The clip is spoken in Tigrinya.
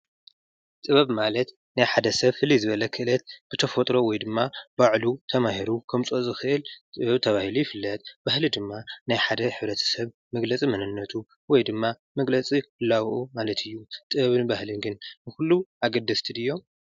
ጥበብ ማለት ናይ ሓደ ሰብ ፍልይ ዝበለ ክእለት ብተፈጥሮ ወይድማ ባዕሉ ተማሂሩ ከምፅኦ ዝኽእል ጥበብ ተባሂሉ ይፍለጥ። ባህሊ ድማ ናይ ሓደ ሕብረተሰብ መግለፂ መንነቱ ወይ ድማ መግለፂ ህላወኡ ማለት እዩ። ጥበብን ባህልን ግን ንኩሉ አገደስቲ ድዮም?